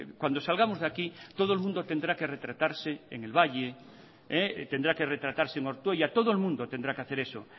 cuando salgamos de aquí todo el mundo tendrá que retratarse en el valle tendrá que retratarse en ortuella todo el mundo tendrá que hacer eso